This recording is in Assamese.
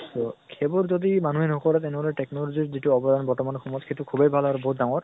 তʼ সেইবোৰ যদি মানুহে নকৰে তেনেখলে technology ৰ যিটো অৱদান বৰ্তমান সময়ত সেইটো খুবেই ভাল আৰু বহুত ডাঙৰ